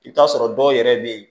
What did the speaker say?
I bɛ t'a sɔrɔ dɔw yɛrɛ bɛ yen